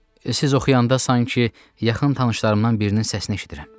Siz oxuyanda sanki yaxın tanışlarımdan birinin səsini eşidirəm.